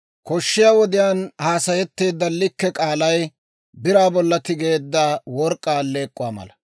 Koshshiyaa wodiyaan haasayetteedda likke k'aalay biraa bolla tigeedda work'k'aa alleek'k'uwaa mala.